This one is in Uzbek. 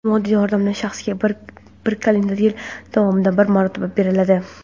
Moddiy yordam shaxsga bir kalendar yil davomida bir marotaba beriladi.